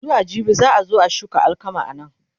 zuwa jibi za'a zo a shuka alkama anan